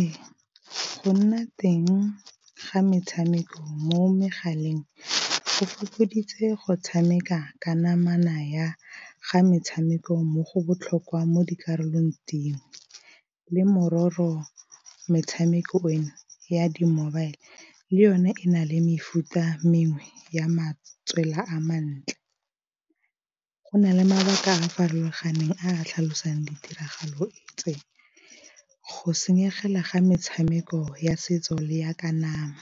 Ee, go nna teng ga metshameko mo megaleng go fokoditse go tshameka ka namana ya ga metshameko mo go botlhokwa mo dikarolong dingwe, le mororo metshameko eno ya di-mobile le yone e na le mefuta mengwe ya matswela a mantle. Go na le mabaka a a farologaneng a tlhalosang ditiragalo tse go senyegela ga metshameko ya setso le ya ka nama,